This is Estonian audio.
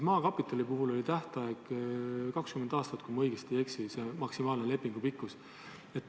Maakapitali puhul oli maksimaalne lepingu tähtaeg 20 aastat, kui ma ei eksi.